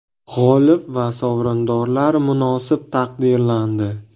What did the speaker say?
G‘olib va sovrindorlar munosib taqdirlandi.